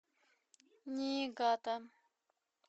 ниигата